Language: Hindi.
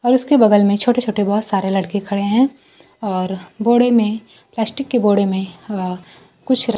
और उसके बगल में छोटे छोटे बहोत सारे लड़के खड़े है और बोड़े में प्लास्टिक के बोड़े मे अ कुछ--